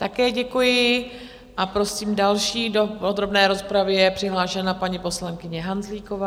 Také děkuji a prosím, další do podrobné rozpravy je přihlášena paní poslankyně Hanzlíková.